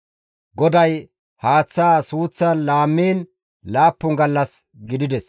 GODAY haaththaa suuththan laammiin laappun gallas gidides.